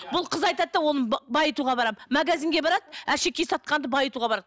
бұл қыз айтады да оны байытуға барамын магазинге барады әшекей сатқанды байытуға барады